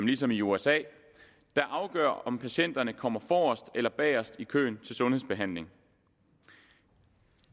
ligesom i usa afgør om patienterne kommer forrest eller bagerst i køen til sundhedsbehandling